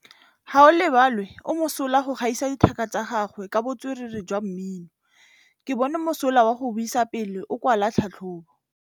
Gaolebalwe o mosola go gaisa dithaka tsa gagwe ka botswerere jwa mmino. Ke bone mosola wa go buisa pele o kwala tlhatlhobô.